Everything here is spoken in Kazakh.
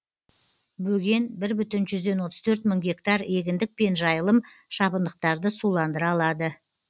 бөген бір бүтін жүзден отыз төрт мың гектар егіндік пен жайылым шабындықтарды суландыра алады